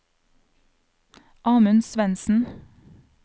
Amund Svendsen